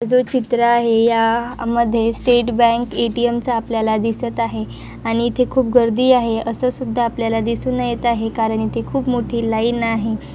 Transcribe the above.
जो चित्र आहे या मध्ये state bank A. T. M चा आपल्याला दिसत आहे आणि इथे खूप गर्दी आहे असं सुद्धा आपल्याला दिसून येत आहे कारण ती खूप मोठी लाइन आहे.